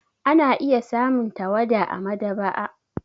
Ana iya samun tawada a maɗaba'a.